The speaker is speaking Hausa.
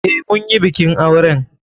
Eh, munyi bikin auren.